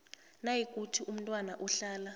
nayikuthi umntwana uhlala